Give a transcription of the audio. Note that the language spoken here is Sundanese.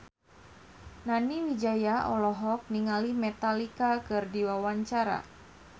Nani Wijaya olohok ningali Metallica keur diwawancara